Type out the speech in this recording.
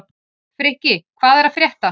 Frikki, hvað er að frétta?